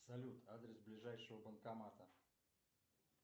салют адрес ближайшего банкомата